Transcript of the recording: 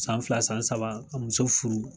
San fila san saba ka muso furu